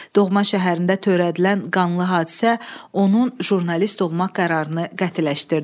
Doğma şəhərində törədilən qanlı hadisə onun jurnalist olmaq qərarını qətiləşdirdi.